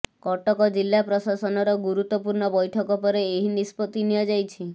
କଟକ ଜିଲ୍ଲା ପ୍ରଶାସନର ଗୁରୁତ୍ୱପୂର୍ଣ୍ଣ ବୈଠକ ପରେ ଏହି ନିଷ୍ପତ୍ତି ନିଆଯାଇଛି